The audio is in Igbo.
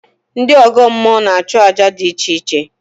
Ndị ọgọ mmụọ na-achụ àjà dị iche iche